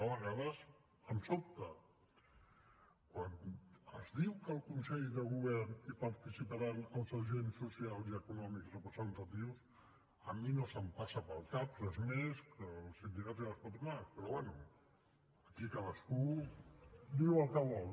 a vegades em sobta quan es diu que al consell de govern hi participaran els agents socials i econòmics representatius a mi no em passa pel cap res més que els sindicats i les patronals però bé aquí cadascú diu el que vol